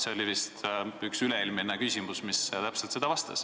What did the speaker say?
See oli vist üks üle-eelmine küsimus, mis oli täpselt selle kohta.